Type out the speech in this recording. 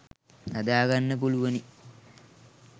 හදාගන්න පුළුවනි